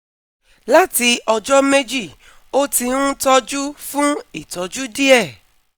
Láti ọjọ́ méjì ó ti ń tọ́jú fún ìtọ́jú díẹ̀